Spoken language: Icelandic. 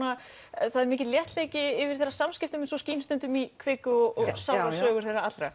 er mikill léttleiki yfir þeirra samskiptum eins og skín stundum í kviku og sannrar sögu þeirra allra